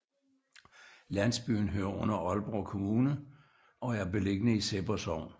Landsbyen hører under Aalborg Kommune og er beliggende i Sebber Sogn